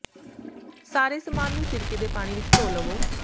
ਸਾਰੇ ਸਮਾਨ ਨੂੰ ਸਿਰਕੇ ਦੇ ਪਾਣੀ ਵਿਚ ਧੋ ਲਵੋ